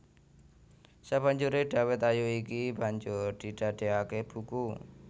Sabanjuré Dawet Ayu iki banjur didadéaké buku